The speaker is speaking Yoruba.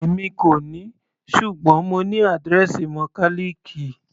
Èmi kò ní, ṣùgbọ́n mo ní àdírẹ́ẹ̀sì mọkálìkì.